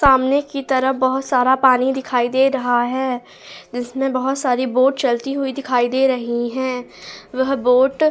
सामने की तरफ बहुत सारा पानी दिखाई दे रहा है जिसमें बहुत सारी बोट चलती हुई दिखाई दे रही हैं वह बोट --